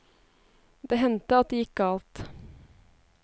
Det hendte at det gikk galt.